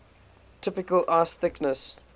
typical ice thickness